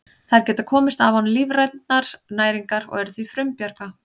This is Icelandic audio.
Þær geta komist af án lífrænnar næringar og eru því frumbjarga.